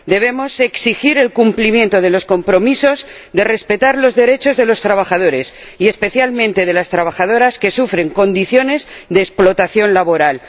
Debemos exigir el cumplimiento de los compromisos de respetar los derechos de los trabajadores y, especialmente, de las trabajadoras, que sufren condiciones de explotación laboral.